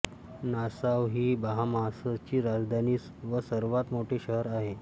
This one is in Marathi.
नासाउ ही बहामासची राजधानी व सर्वांत मोठे शहर आहे